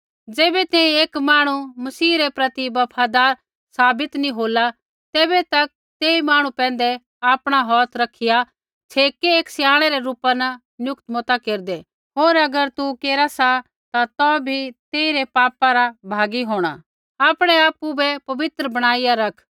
ज़ैबै तैंईंयैं एक मांहणु मसीह रै प्रति बफादार साबित नैंई होला तैबै तक तेई मांहणु पैंधै आपणा हौथ रखिया छ़ेकै एक स्याणै रै रूपा न नियुक्त मता केरदै होर अगर तू केरा सा ता तौ भी तेइरै पापा रा भागी होंणा आपणै आपु बै पवित्र बणाईया रख